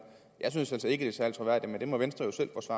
jeg synes altså ikke det er særlig troværdigt men det må venstre